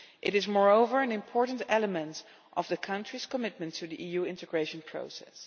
It is, moreover, an important element of the country's commitment to the EU integration process.